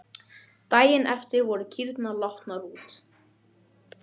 Daginn eftir voru kýrnar látnar út.